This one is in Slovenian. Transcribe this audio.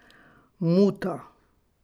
Muta.